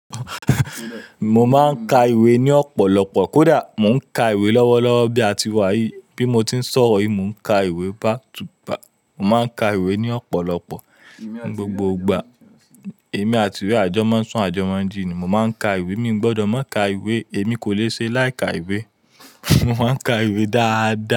Mo máa ń ka ìwé ní ọ̀pọ̀lọpọ̀. Kódà mò ń ka ìwé lọ́wọ́lọ́wọ́ bí a ti wà yí bí mo ti ń sọ̀rọ̀ yìí, mò ń ka ìwé back to back. Mò ń ka ìwé ní ọ̀pọ̀lọpọ̀. Gbogbo ìgbà, èmi àti ìwé àjọ mọ́ ń sún àjọ mọ́ ń jí ni. Mo máa ń ka ìwé, mi ò gbọdọ̀ má ka ìwé, èmi kò le ṣe láì ka ìwé. Mò má ń ka ìwé dáadáa.